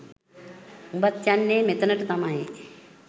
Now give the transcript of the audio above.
උබත් යන්නේ මෙතනට තමයි